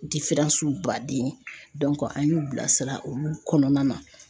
baden an y'u bilasira olu kɔnɔna na.